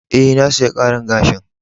E,na saya karin gashin.